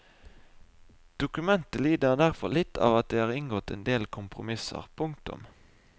Dokumentet lider derfor litt av at det er inngått en del kompromisser. punktum